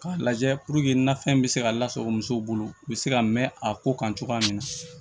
K'a lajɛ nafɛn bɛ se ka lasago musow bolo u bɛ se ka mɛn a ko kan cogoya min na